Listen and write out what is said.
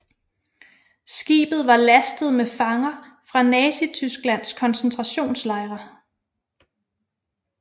Skibet var lastet med fanger fra Nazitysklands koncentrationslejre